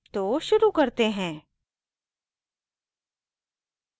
तो शुरू करते हैं